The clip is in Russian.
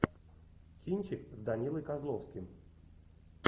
кинчик с данилой козловским